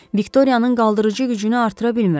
Viktoriyanın qaldırıcı gücünü artıra bilmirəm.